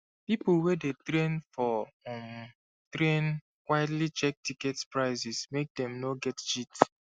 people wey dey train for um train quietly check ticket prices make dem no get cheat